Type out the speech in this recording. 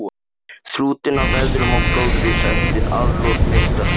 Þrútinn af veðrum og blóðrisa eftir atlot meistara síns.